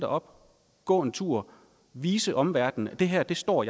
dig op gå en tur vise omverdenen at det her står